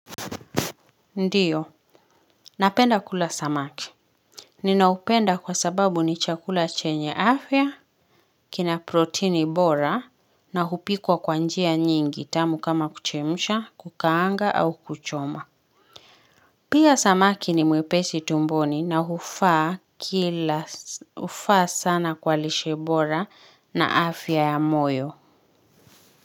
Ndiyo, napenda kula samaki. Ninapenda kwa sababu ni chakula chenye afya, kina proteini bora, na hupikwa kwa njia nyingi tamu kama kuchemsha, kukaanga au kuchoma. Pia samaki ni mwepesi tumboni na hufaa sana kwa lishe bora na afya ya moyo.